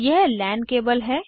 यह LAN cable है